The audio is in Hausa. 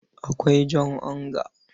Akwai jan onga.